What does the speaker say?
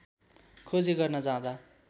खोजी गर्न जाँदा